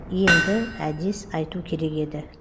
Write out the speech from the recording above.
енді әдес айту керек еді